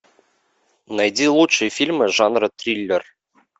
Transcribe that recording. найди лучшие фильмы жанра триллер